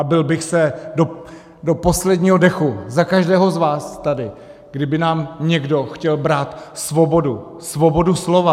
A bil bych se do posledního dechu za každého z vás tady, kdyby nám někdo chtěl brát svobodu, svobodu slova.